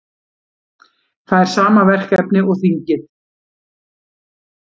Fær sama verkefni og þingið